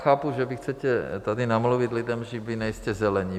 Chápu, že vy chcete tady namluvit lidem, že vy nejste Zelení.